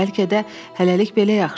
Bəlkə də hələlik belə yaxşıdır.